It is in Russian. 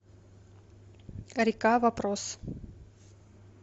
река вопрос